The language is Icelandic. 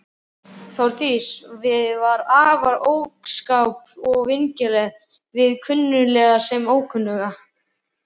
Þórdís var afar opinská og vingjarnleg við kunnuga sem ókunnuga.